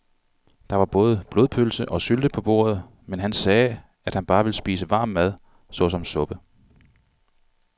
Der var både blodpølse og sylte på bordet, men han sagde, at han bare ville spise varm mad såsom suppe.